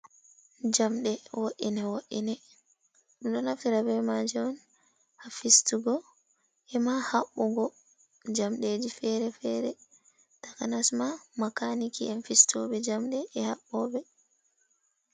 Jamɗe wo’ine wo’ine ɗum ɗo naftire be maje on hafistugo e ma haɓɓugo, jamɗeji fere-fere takanasma ma maka'niki en fistoɓe jamɗe e haɓɓoɓe.